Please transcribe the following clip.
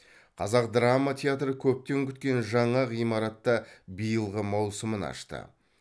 қазақ драма театры көптен күткен жаңа ғимаратта биылғы маусымын ашты